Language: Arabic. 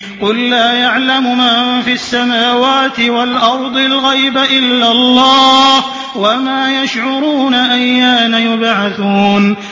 قُل لَّا يَعْلَمُ مَن فِي السَّمَاوَاتِ وَالْأَرْضِ الْغَيْبَ إِلَّا اللَّهُ ۚ وَمَا يَشْعُرُونَ أَيَّانَ يُبْعَثُونَ